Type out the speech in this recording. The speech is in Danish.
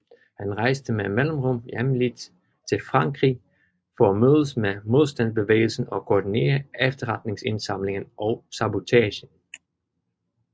Han rejste med mellemrum hemmeligt til Frankrig for at mødes med modstandsbevægelsen og koordinere efterretningsindsamlingen og sabotagen